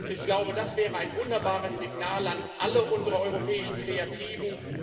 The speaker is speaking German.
Ich glaube, das wäre ein wunderbares Signal an alle unsere europäischen Kreativen.